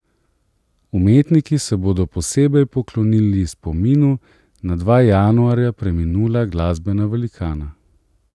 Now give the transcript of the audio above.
Umetniki se bodo posebej poklonili spominu na dva januarja preminula glasbena velikana.